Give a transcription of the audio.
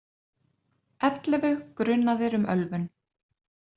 Ellefu grunaðir um ölvun